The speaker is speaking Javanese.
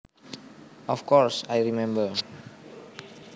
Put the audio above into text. Of course I remember